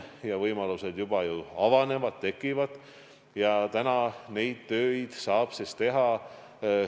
Ja võimalused juba avanevad, tekivad – praegu saab neid töid teha.